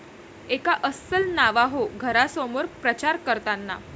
एका अस्सल नावाहो घरासमोर प्रचार करताना